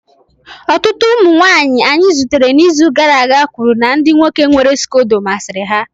Ọtụtụ ụmụ nwanyị anyị zutere n'izu gara aga kwuru na ndị nwoke nwere scodo masịrị ha